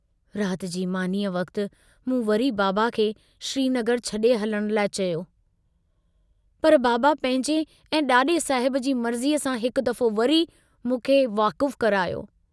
रात जी मानीअ वक्त मूं वरी बाबा खे श्रीनगर छड़े हलण लाइ चयो, पर बाबा पंहिंजे ऐं डाडे साहिब जी मर्जीअ सां हिक दफ़ो वरी मूंखे वाकुफ़ु करायो।